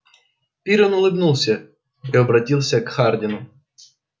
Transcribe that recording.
пиренн улыбнулся и обратился к хардину